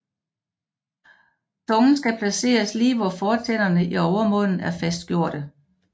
Tungen skal placeres lige hvor fortænderne i overmunden er fastgjordte